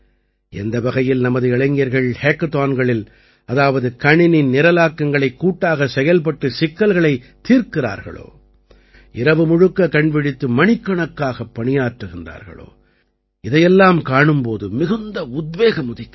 எந்த வகையில் நமது இளைஞர்கள் ஹேக்கத்தான்களில் அதாவது கணினி நிரலாக்கங்களைக் கூட்டாகச் செயல்பட்டுச் சிக்கல்களைத் தீர்க்கிறார்களோ இரவுமுழுக்க கண்விழித்து மணிக்கணக்காகப் பணியாற்றுகிறார்களோ இதையெல்லாம் காணும் போது மிகுந்த உத்வேகம் உதிக்கிறது